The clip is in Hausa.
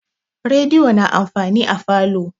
Rediyo na amfani a falo.